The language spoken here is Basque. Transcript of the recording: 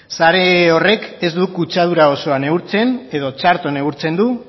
sare horrek ez du kutsadura osoa neurtzen edo txarto neurtzen du